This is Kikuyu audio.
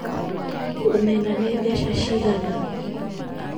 Omena nĩ mbeca cigana